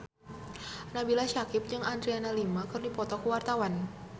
Nabila Syakieb jeung Adriana Lima keur dipoto ku wartawan